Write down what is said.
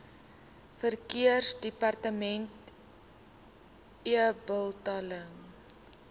verkeersdepartementebetaling